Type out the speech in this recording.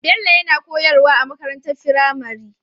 Bello yana koyar wa a makarantar firamare